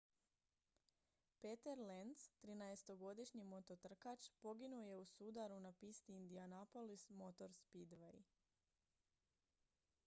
peter lenz trinaestogodišnji mototrkač poginuo je u sudaru na pisti indianapolis motor speedway